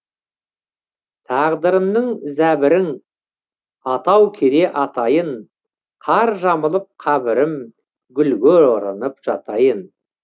тағдырымның зәбірің атау кере атайын қар жамылып қабірім гүлге оранып жатайын